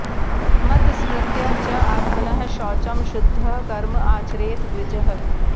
मत् स्मृत्या च आत्मनः शौचं शुद्धः कर्म आचरेत् द्विजः